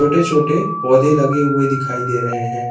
छोटे छोटे पौधे लगे हुए दिखाई दे रहे हैं।